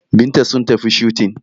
Binta sun tafi shooting